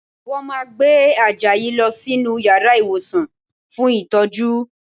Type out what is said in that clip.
Wọ́n máa gbé Àjàyí lọ sínú yàrá ìwòsàn fún ìtọ́jú